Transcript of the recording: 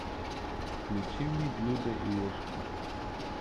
включи мне блюдо и ложка